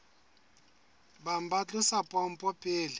bang ba tlosa pompo pele